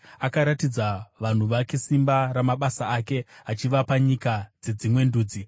Akaratidza vanhu vake simba ramabasa ake, achivapa nyika dzedzimwe ndudzi.